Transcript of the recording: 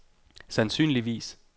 sandsynligvis